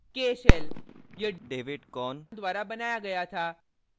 k shell यह david korn द्वारा बनाया गया था